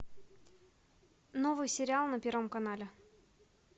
новый сериал на первом канале